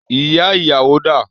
Ìyá ìyàwó dà?